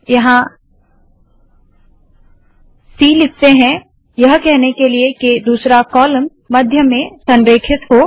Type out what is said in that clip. यहाँ सी लिखते है यह कहने के लिए के दूसरा कॉलम मध्य में संरेखित हो